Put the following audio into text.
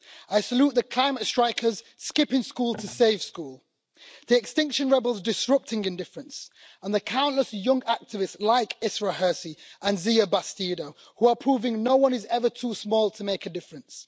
I salute the climate strikers skipping school to save school, the Extinction Rebels disrupting indifference, and the countless young activists like Isra Hirsi and Xiye Bastida who are proving no one is ever too small to make a difference.